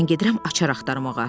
Mən gedirəm açar axtarmağa.